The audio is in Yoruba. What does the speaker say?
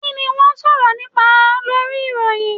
Kini wọn sọrọ nipa Lori iroyin?